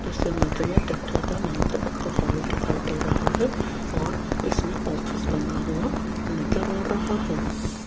इस इमेज में देखिएगा यहां पे एक हाल दिखाई दे रहा है और इसमें ऑफिस बना हुआ नजर आ रहा है।